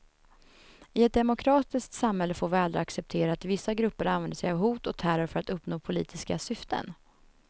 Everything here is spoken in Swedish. I ett demokratiskt samhälle får vi aldrig acceptera att vissa grupper använder sig av hot och terror för att uppnå politiska syften.